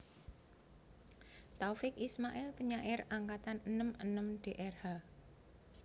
Taufiq Ismail Penyair Angkatan enem enem Drh